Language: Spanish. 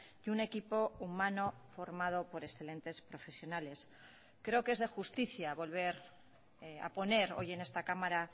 y un equipo humano formado por excelentes profesionales creo que es de justicia volver a poner hoy en esta cámara